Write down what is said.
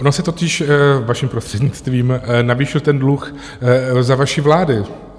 On se totiž, vaším prostřednictvím, navýšil ten dluh za vaší vlády.